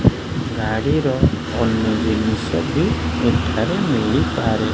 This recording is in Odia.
ଗାଡି ର ଅନ୍ୟ ଜିନିଷ ବି ଏଠାରେ ମିଳି ପାରେ।